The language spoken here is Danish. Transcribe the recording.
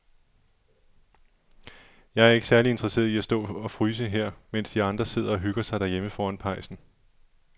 Jeg er ikke særlig interesseret i at stå og fryse her, mens de andre sidder og hygger sig derhjemme foran pejsen.